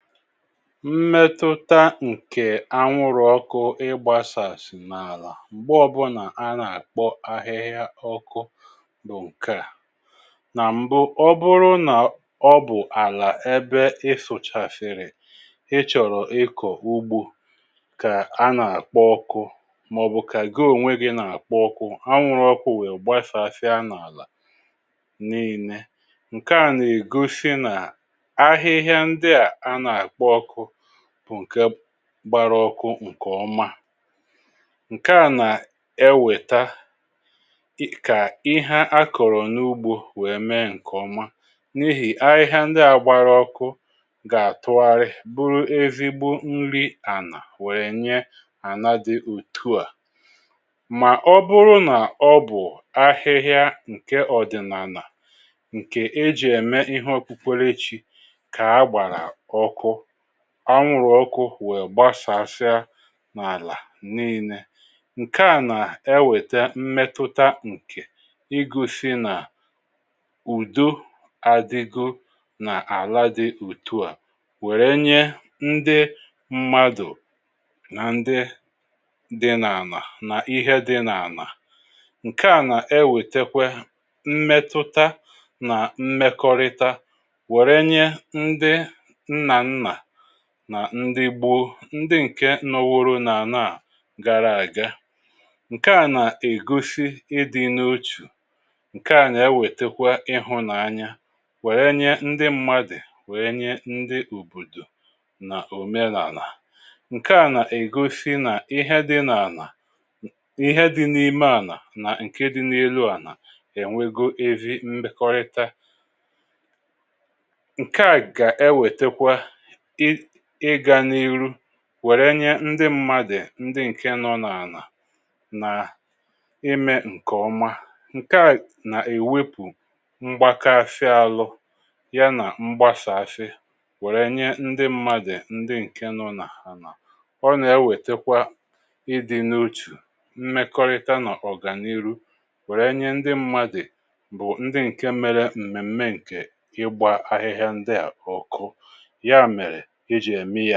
Mmètụ̀ta ǹkè anwụrụ ọkụ ị gbàsàsì n’àlà m̀gbe ọ̀bụ̀nà a nà-àkpọ ahịhịa ọkụ bụ̀ ǹke à: nà m̀bụ ọ bụrụ nà ọ bụ̀ àlà ebe ị fụ̀chafèrè ị chọ̀rọ̀ ịkọ̀ ugbȯ kà à n’apkọ ọkụ mà ọ̀bụ̀ kà gị ònwe gi̇ nà-akpọ ọkụ anwụrụ ọkụ̇ wèè gbàsàsị̀ a nà-àlà n’ìnė ǹke à nà-ègosi nà ahịhịa ndịà a nà-àkpọ ọkụ bụ̀ nke gbaraọkụ ǹkè ọma. Nke à nà ewèta kà ihe akọ̀rọ̀ n’ugbȯ wèe mee ǹkè ọma n’ihì ahihia ndị à gbaraọkụ gà-àtụgharị bụrụ ezigbo nri ànà wèrè nye àna dị otuà. Mà ọbụrụ nà ọ bụ̀ ahịhịa ǹkè ọ̀dị̀nàlà ǹkè e jì ème ihe okpukwere chi ka agbara ọkụ anwụ̀rụ̀ ọkụ wèe gbasàsịà n’àlà n’ile ǹkè a nà-ewète mmetụta ǹkè igosi nà ùdo àdìgȯ nà àla dị otu à wère nye ndị mmadụ̀ nà ndị dị n’ànà nà ihe dị n’ànà. Nke a nà-ewètekwe mmetụta nà mmekọrịta were nye ndị nnanna nà ndị gboo ndị ǹke nọworo n’àna à gara àga. Nke à nà ègosi ịdị̇ n’ochù. Nke à nà ewètekwa ịhụ̇nanya wère nye ndị mmadụ̀ wènye ndị òbòdò nà òme n’àlà. Nke à nà ègosi nà ihe dị̇ n’àlà ihe dị̇ n’ime ànà na ǹkè dị̇ n’elu ànà è nwego ezi mbekọrịta. Nka a ga ewetekwa ị ịga n’iru wèrè nye ndị mmadụ ndị ǹke nọ n’ànà nà imė ǹkè ọma. Nke à nà èwepụ mgbakashị àhụ ya nà mgbasàshị wèrè inye ndị mmadụ ndị ǹke nọ nà anà. Ọ nà ewètekwa ịdị̇ n’otù, mmekọrịta nọ̀ ọ̀gànihu wèrè inye ndị mmadụ bụ̀ ndị ǹke mere m̀mèm̀me ǹkè ịgbȧ ahịhịa ndị à ọ̀kụ ya mere eji è mie